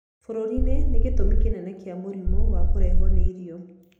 Bũrũri-inĩ nĩ gĩtũmi kĩnene kĩa mũrimũ wa kũrehwo nĩ irio.